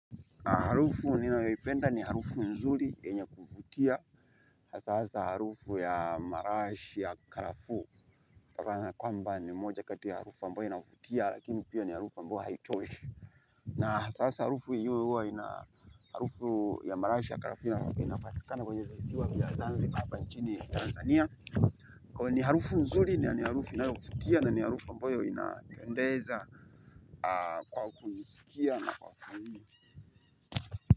Harufu ninayoipenda ni harufu nzuri yenye kuvutia. Hasa harufu ya marashi ya karafuu. Kwamba ni moja kati ya harufu ambayo inavutia, lakini pia ni harufu ambayo haichoishi. Na sasa harufu hiyo ina harufu ya marashi ya karafuu inapatikana kwenye viziwa vya zanzibar hapa nchini Tanzania. Kwa hiyo ni harufu nzuri ni harufu inayovutia na ni harufu ambayo inapendeza kwa kuisikia na kwa kuhini.